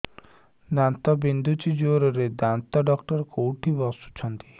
ଦାନ୍ତ ବିନ୍ଧୁଛି ଜୋରରେ ଦାନ୍ତ ଡକ୍ଟର କୋଉଠି ବସୁଛନ୍ତି